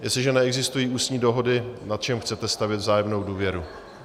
Jestliže neexistují ústní dohody, na čem chcete stavět vzájemnou důvěru?